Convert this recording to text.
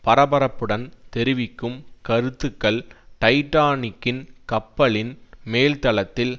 பரபரப்புடன் தெரிவிக்கும் கருத்துக்கள் டைடானிக்கின் கப்பலின் மேல்தளத்தில்